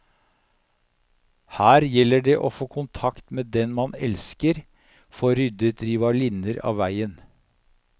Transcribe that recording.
Her gjelder det å få kontakt med den man elsker, få ryddet rivalinner av veien.